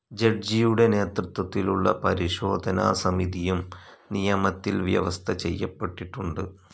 ജഡ്ജിയുടെ നേതൃത്വത്തിലുള്ള പരിശോധനാ സമിതിയും നിയമത്തിൽ വ്യവസ്ഥചെയ്യപ്പെട്ടിട്ടുണ്ട്.